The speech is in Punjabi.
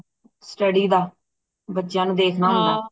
study ਦਾ ਬੱਚਿਆਂ ਨੂੰ ਦੇਖਣਾ ਹੁੰਦਾ ਹੈ